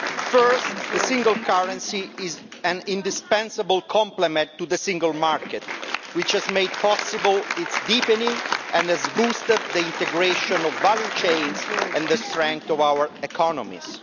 First, the single currency is an indispensable complement to the Single Market, which has made possible its deepening and has boosted the integration of value chains and the strength of our economies.